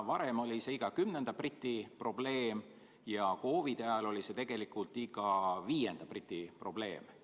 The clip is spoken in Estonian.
Varem oli see iga kümnenda briti probleem, kuid COVID-i ajal oli see iga viienda briti probleem.